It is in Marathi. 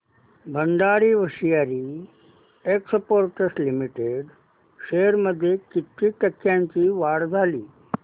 Bhandari hosiery exports limited shares मध्ये किती टक्क्यांची वाढ झाली